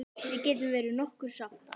Á að svína eða toppa?